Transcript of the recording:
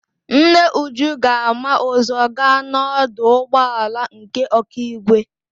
Nne Uju ga-ama ụzọ gaa n'ọdụ ụgbọala nke Ọkigwe.